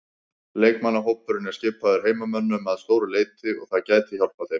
Leikmannahópurinn er skipaður heimamönnum að stóru leyti og það gæti hjálpað þeim.